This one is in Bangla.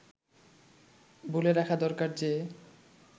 বলে রাখা দরকার যে